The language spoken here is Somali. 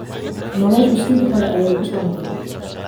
Noloshu sidii hore ayay ku soo noqotay